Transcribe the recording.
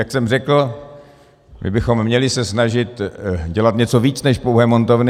Jak jsem řekl, my bychom se měli snažit dělat něco víc než pouhé montovny.